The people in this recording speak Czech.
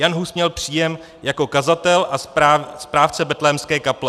Jan Hus měl příjem jako kazatel a správce Betlémské kaple.